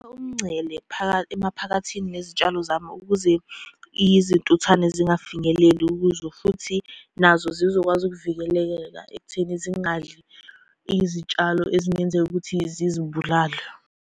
Umngcele emaphakathini nezitshalo zami ukuze izintuthwane zingafinyeleli kuzo, futhi nazo zizokwazi ukuvikelekeka ekutheni zingadli izitshalo ezingenzeka ukuthi zizibulale.